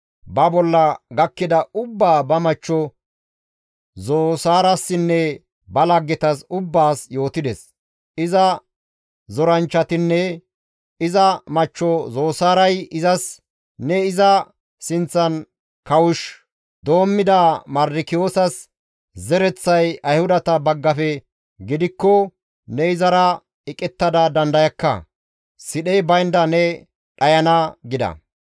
Ba bolla gakkida ubbaa ba machcho Zosaarassinne ba laggetas ubbaas yootides. Iza zoranchchatinne iza machcho Zosaaray izas, «Ne iza sinththan kawush doommida Mardikiyoosas zereththay Ayhudata baggafe gidikko ne izara eqettada dandayakka; sidhey baynda ne dhayana» gida.